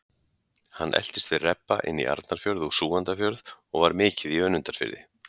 Hann eltist við rebba inn í Arnarfjörð og Súgandafjörð og var mikið í Önundarfirði.